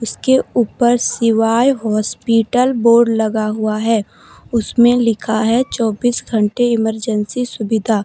इसके ऊपर शिवाय हॉस्पिटल बोर्ड लगा हुआ है उसमें लिखा है चौबीस घंटे इमरजेंसी सुविधा।